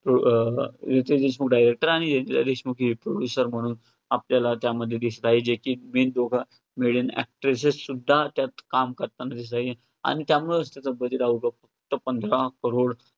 अं Riteish Deshmukh director आणि जेनेलिया डिसूजा ही producer म्हणून आपल्याला त्यामध्ये दिसतात. जे की main दोघ main actors त्यात काम करताना दिसतात. आणि त्यामुळे पंधरा crores